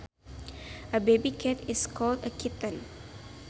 A baby cat is called a kitten